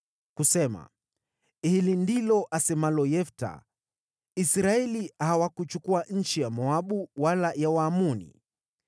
kusema: “Hili ndilo asemalo Yefta, Israeli hawakuchukua nchi ya Moabu wala ya Waamoni.